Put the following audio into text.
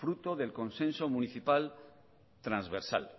fruto del consenso municipal transversal